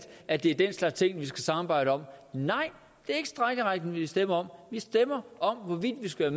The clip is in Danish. at det er den slags ting vi skal samarbejde om nej det er ikke strejkeretten vi stemmer om vi stemmer om hvorvidt vi skal